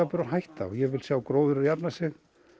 og hætta og ég vil sjá gróðurinn jafna sig